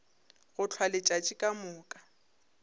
go hlwa letšatši ka moka